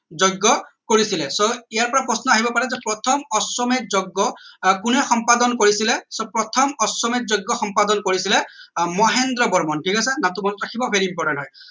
যজ্ঞ কৰিছিলে so ইয়াৰ পৰা প্ৰশ্ন আহিব পাৰে যে প্ৰথম অশ্বমেধ যজ্ঞ আহ কোনে সম্পাদন কৰিছিলে so প্ৰথম অশ্বমেধ যজ্ঞ সম্পাদন কৰিছিলে আহ মহেন্দ্ৰ বৰ্মনে ঠিক আছে নামটো মনত ৰাখিব এইটো important হয়